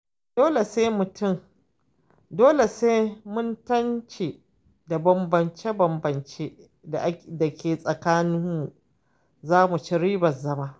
Dole sai mun mance da bambance-bambance da ke tsakaninmu, za mu ci ribar zama.